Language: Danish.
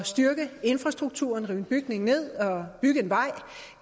styrke infrastrukturen at rive en bygning ned og bygge en vej